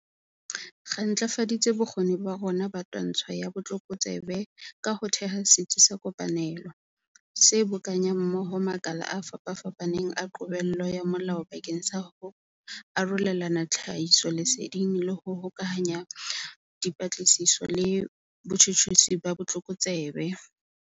Re ntlafaditse bokgoni ba rona ba twantsho ya botlokotsebe ka ho theha Setsi sa Kopanelo, se bokanyang mmoho makala a fapafapaneng a qobello ya molao bakeng sa ho arolelana tlhahisoleseding le ho hokahanya dipatlisiso le botjhutjhisi ba botlokotsebe.